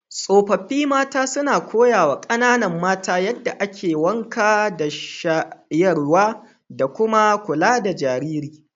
Tsofaffi mata suna koyawa kananan mata yadda ake wanka da shayarwa, da kuma kula da jarirai.